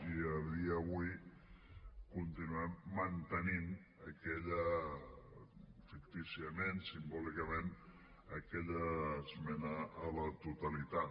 i a dia d’avui continuem mantenint aquella fictíciament simbòlicament esmena a la totalitat